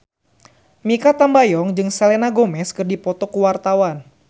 Mikha Tambayong jeung Selena Gomez keur dipoto ku wartawan